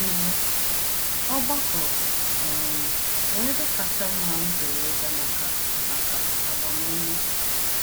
Ibu: “Ọgbakọ um bụ ebe kacha mma m pụrụ ịga maka maka agbamume.